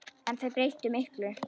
En þeir breyttu miklu.